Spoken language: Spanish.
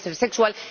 puede ser sexual.